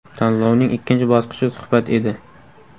Tanlovning ikkinchi bosqichi suhbat edi.